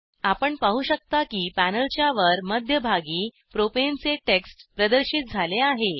आपण पाहू शकता की पॅनेलच्यावर मध्यभागी प्रोपेनचे टेक्स्ट प्रदर्शित झाले आहे